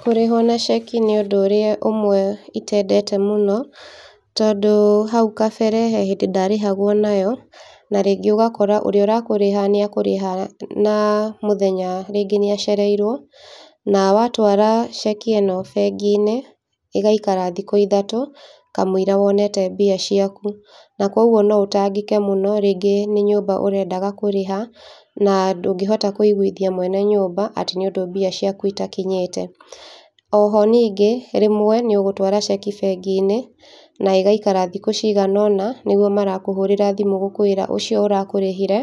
Kũrĩhwo na ceki nĩ ũndũ ũrĩa ũmwe itendete mũno, tondũ haũ kabere he hĩndĩ ndarĩhagwo nayo na rĩngĩ ũgakora ũrĩa ũrakũriha na mũthenya rĩngĩ nĩacereirwo na watwara ceki ĩno bengi-inĩ ĩgaikara thikũ ithatũ kamũira wonete mbia ciaku, na koguo no ũtangĩke mũno tarĩngĩ nĩ nyũmba ũrendaga kũrĩha, na ndũngĩhota kũiguithia mwene nyũmba atĩ nĩũndũ mbia ciaku itakinyĩte. O ho ningĩ nĩũgũtwara ceki bengi-inĩ na ĩgaikara thikũ ciganona nĩguo marakũhũrĩra magakwĩra ũcio ũrakũrĩhire